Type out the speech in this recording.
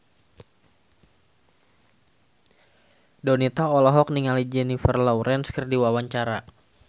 Donita olohok ningali Jennifer Lawrence keur diwawancara